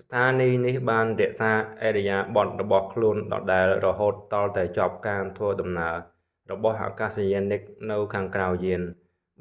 ស្ថានីយ៍នេះបានរក្សាឥរិយាបថរបស់ខ្លួនដដែលរហូតទាល់តែចប់ការធ្វើដំណើររបស់អាកាសយានិកនៅខាងក្រៅយាន